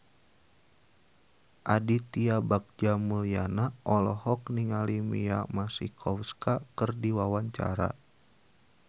Aditya Bagja Mulyana olohok ningali Mia Masikowska keur diwawancara